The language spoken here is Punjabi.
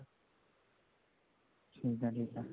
ਠੀਕ ਹੈ ਠੀਕ ਹੈ